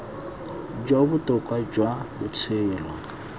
jo bo botoka jwa botshelo